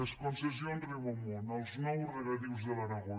les concessions riu amunt els nous regadius de l’aragó